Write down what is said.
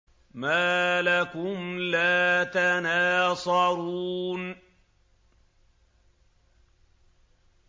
مَا لَكُمْ لَا تَنَاصَرُونَ